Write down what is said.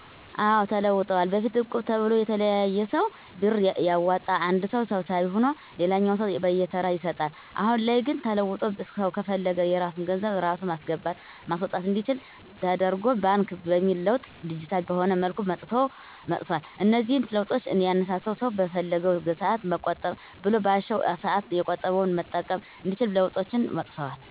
አዎ ተለውጠዋል በፊት እቁብ ተብሎ የተለያየ ሰው ብር እያዋጣ አንድ ሰው ሰብሳቢ ሁኖ ለሌላኛው ሰው በየተራ ይሰጣል። አሁን ላይ ግን ተለውጦ ሰው ከፈለገ የራሱን ገንዘብ ራሱ ማስገባት ማስወጣት አንዲችል ደተርጎ ባንክ በሚል ለውጥ ዲጂታል በሆነ መልኩ መጥቷል። እነዚህን ለውጦች ያነሳሳው ሰው በፈለገው ሰአት መቆጠብ ብሎም ባሻው ሰአት የቆጠበውን መጠቀም እንዲችል ለውጦች መጥተዋል።